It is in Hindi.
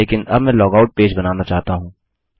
लेकिन अब मैं लॉगआउट पेज बनाना चाहता हूँ